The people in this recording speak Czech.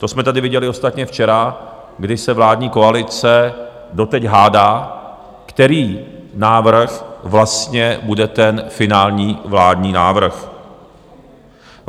To jsme tady viděli ostatně včera, kdy se vládní koalice doteď hádá, který návrh vlastně bude ten finální vládní návrh.